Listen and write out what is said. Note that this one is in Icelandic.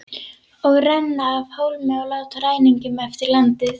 Og renna af hólmi og láta ræningjum eftir landið?